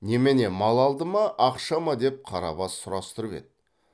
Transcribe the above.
немене мал алды ма ақша ма деп қарабас сұрастырып еді